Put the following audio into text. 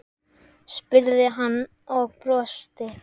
spurði hann og brosti.